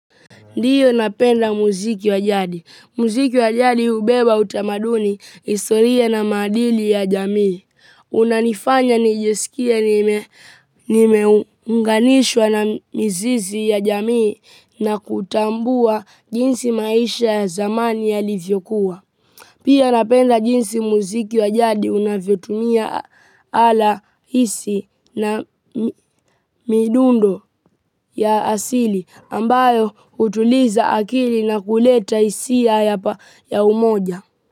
Ndiyo, napenda muziki wa jadi. Muziki wa jadi hubeba utamaduni, historia na maadili ya jamii. Unanifanya nijisikie nimeunganishwa na mizizi ya jamii na kutambua jinsi maisha ya zamani yalivyokuwa. Pia napenda jinsi muziki wa jadi unavyotumia ala halisi na midundo ya asili. Ambayo hutuliza akili na kuleta hisia ya umoja.